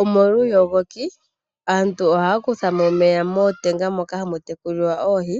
Omolwa uuyogoki aantu ohaya kutha mo omeya mootenga moka hamu tekulilwa oohi.